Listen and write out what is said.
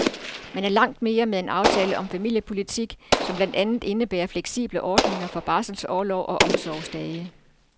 Man er langt med en aftale om familiepolitik, som blandt andet indebærer fleksible ordninger for barselsorlov og omsorgsdage.